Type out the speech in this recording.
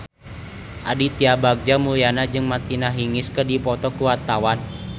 Aditya Bagja Mulyana jeung Martina Hingis keur dipoto ku wartawan